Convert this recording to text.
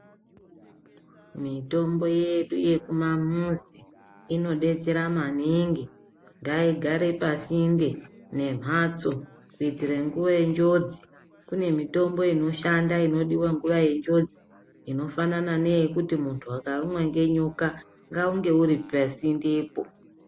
Mitombo yedu yekumamizi inodetsera maningi, ngaigare pasi maningi nemhatso kuitire nguva yenjodzi, kune mitombo inodiwa inoshanda nguva yenjodzi inofana ndeyekuti kana muntu akarumwa ngenyoka ngaunge uri pasi ngepo.